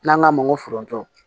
N'an k'a ma ko foronto